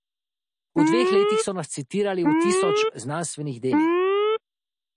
V dveh letih so nas citirali v tisoč znanstvenih delih.